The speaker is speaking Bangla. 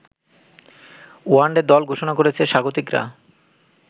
ওয়নডে দল ঘোষণা করেছে স্বাগতিকরা